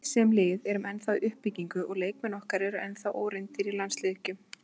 Við, sem lið, erum ennþá í uppbyggingu og leikmenn okkar eru ennþá óreyndir í landsleikjum.